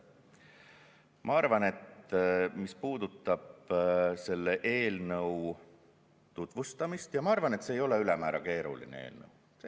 Mis puudutab eelnõu tutvustamist, siis ma arvan, et see ei ole ülemäära keeruline eelnõu.